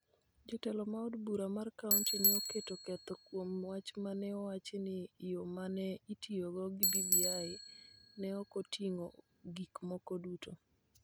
Jo telo ma od bura mar kaonti ne oketo ketho kuom wach ma ne owach ni yo ma ne itiyogo gi BBI ne ok oting�o gik moko duto.